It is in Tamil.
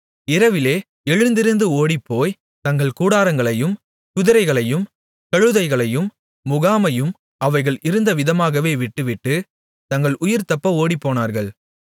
இரவிலே எழுந்திருந்து ஓடிப்போய் தங்கள் கூடாரங்களையும் குதிரைகளையும் கழுதைகளையும் முகாமையும் அவைகள் இருந்த விதமாகவே விட்டுவிட்டு தங்கள் உயிர் தப்ப ஓடிப்போனார்கள்